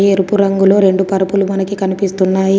ఎరుపు రంగులో రెండు పరుపులు మనకి కనిపిస్తున్నాయి.